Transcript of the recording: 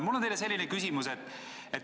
Mul on teile selline küsimus.